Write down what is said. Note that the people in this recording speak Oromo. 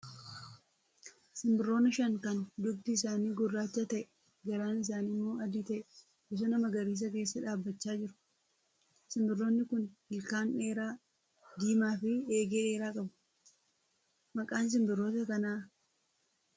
Simbirroonni shan kan dhugdi isaanii gurraacha ta'ee garaan isaanii immoo adii ta'ee bosona magariisa keessa dhaabbachaa jiru. Simbirroonni kun ilkaan dheeraa diimaa fi eegee dheeraa qabu. Maqaan simbirroota kanaa maal jedhamee waamamaa?